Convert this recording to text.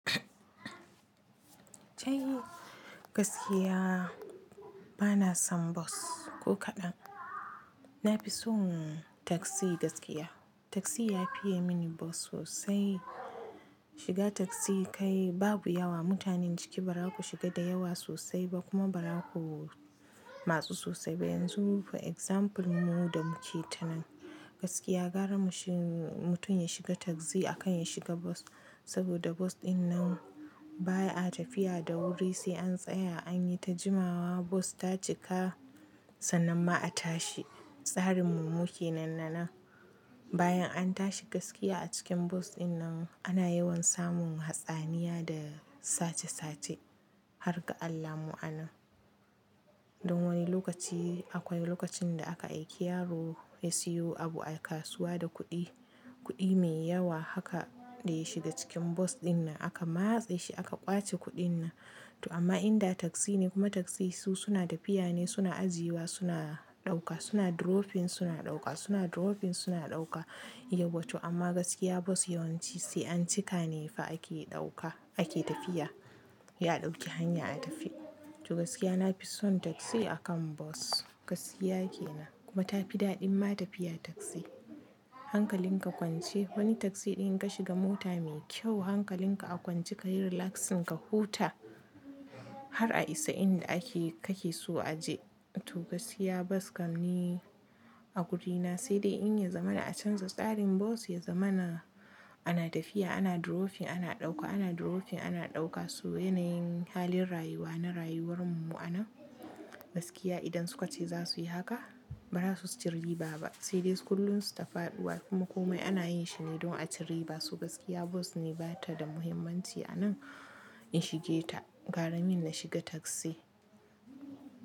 Kai gaskiya bana son bas ko kaɗan. Na fi son taksi gaskiya. Taksi ya fiye mini bas sosai. Shiga taksi kai babu yawa mutanen ciki ba ra ku shiga da yawa sosai ba kuma ba ra ku matsu sosai ba. Yanzu for example mu da muke ta nan gaskiya gara mushi mutum ya shiga taksi akan ya shiga bas saboda bas dinnan baya a tafiya da wuri sai an tsaya an yi ta jimawa bas ta cika sannan ma a tashi. Tsarin mu muke nan nan bayan an tashi gaskiya a cikin bas dinnan ana yawan samun hatsaniya da sace sace har ga Allah mu'anan. Don wani lokaci akwai lokacin da aka aiki yaro ya siyo abu a kasuwa da kuɗi, kuɗi mai yawa haka dai ya shiga cikin bas dinnan aka matse shi aka ƙwace kuɗin nan. To amma in da taksi ne kuma taksi su suna tafiya ne suna ajiyewa suna ɗauka suna dropping suna ɗauka suna dropping suna ɗauka yawa. To amma gaskiya bas yawanci sai an cika ne fa ake ɗauka ake tafiya. Ya ɗauki hanya a tafi. To gaskiya na fi son taksi akan bas gaskiya kenan kuma ta fi daɗin ma tafiya taksi. Hankalin ka kwance wani taksi ɗin ka shiga mota mai kyau hankalin ka a kwance kayi relaxing ka huta har a isa inda ake kake so a je. To gaskiya bas kam i a wuri na sai dai in ya zamana a canza tsarin bas ya zamana ana tafiya ana dropping ana ɗauka ana dropping ana ɗauka su yanayin halin rayuwa na rayuwar mu'anan. Gaskiya idan su ka ce za su yi haka ba za su ci riba ba sai dai su kullum su tafaɗuwa kuma komai ana yin shi ne don a ci riba. Su gaskiya bas ne ba ta da muhimmanci a nan in shige ta gara min na shiga taksi.